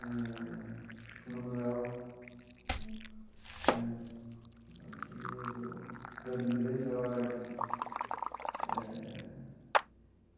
Eh acho que Manoel Dias ou Vladimir Herzog eh.